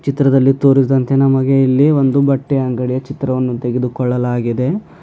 ಚಿತ್ರದಲ್ಲಿ ತೋರಿಸಿದಂತೆ ನಮಗೆ ಇಲ್ಲಿ ಒಂದು ಬಟ್ಟೆ ಅಂಗಡಿಯ ಚಿತ್ರವನ್ನು ತೆಗೆದುಕೊಳ್ಳಲಾಗಿದೆ.